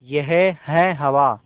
यह है हवा